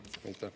Aitäh!